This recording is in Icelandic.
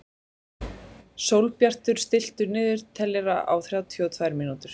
Sólbjartur, stilltu niðurteljara á þrjátíu og tvær mínútur.